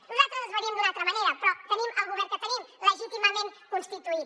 nosaltres les faríem d’una altra manera però tenim el govern que tenim legítimament constituït